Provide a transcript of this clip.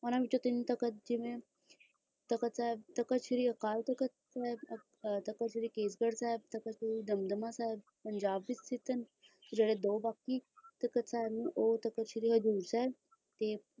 ਉਹਨਾਂ ਵਿਚੋਂ ਤੀਂ ਤਖ਼ਤ ਹੈ ਤਖ਼ਤ ਸ੍ਰੀ ਅਕਾਲ ਤਖ਼ਤ ਸਾਹਿਬ ਅਤੇ ਤਖ਼ਤ ਕੇਸਗੜ੍ਹ ਸਾਹਿਬ ਦਮਦਮਾ ਸਾਹਿਬ ਜੋ ਕਿ ਉਹ ਤਖਤ ਸ੍ਰੀ ਹਜੂਰ ਸਾਹਿਬਤਖ਼ਤ ਸ੍ਰੀ ਅਕਾਲ ਤਖ਼ਤ ਸਾਹਿਬ ਅਤੇ ਤਖ਼ਤ ਕੇਸਗੜ੍ਹ ਸਾਹਿਬ ਦਮਦਮਾ ਸਾਹਿਬ ਪੰਜਾਬ ਵਿਚ ਜੋ ਕਿ ਉਹ ਤਖਤ ਸ੍ਰੀ ਹਜੂਰ ਸਾਹਿਬ ਅਜਿਹੇ ਦੋ ਬਾਕੀ ਦਾਹਤ ਹੈ ਉਹ